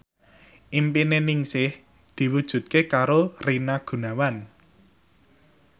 impine Ningsih diwujudke karo Rina Gunawan